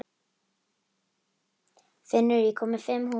Finnur, ég kom með fimm húfur!